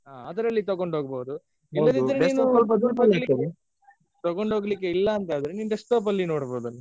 ಹಾ ಅದ್ರಲ್ಲಿ ತಗೊಂಡ್ ಹೋಗ್ಬಹುದು ಇಲ್ಲದಿದ್ರೆ ನೀವು ತಗೊಂಡ್ ಹೋಗ್ಲಿಕ್ಕೆ ಇಲ್ಲ ಅಂದ್ರೆ ನಿನ್ desktop ನೋಡ್ಬಹುದಲಾ?